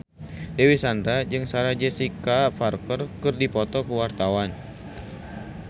Dewi Sandra jeung Sarah Jessica Parker keur dipoto ku wartawan